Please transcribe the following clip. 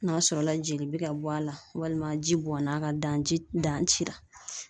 N'a sɔrɔla jeli bɛ ka bɔ a la, walima ji bɔnn'a kan dan ji dan ci la.